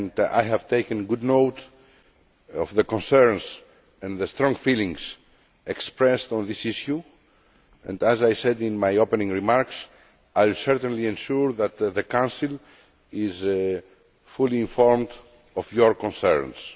I have taken good note of the concerns and strong feelings expressed on this issue and, as I said in my opening remarks, I will certainly ensure that the Council is fully informed of your concerns.